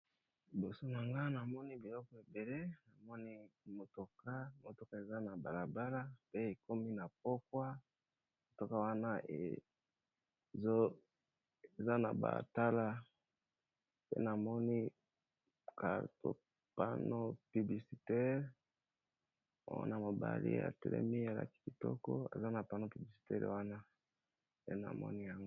Liboso nanga namoni biloko ebele namoni motoka eza na bala bala pe ekomi na pokwa motoka wana eza na batala pe namoni carton, pano publisitere wana mobali ya telemi alaki kitoko eza na pano publisitere wana pe namoni yango.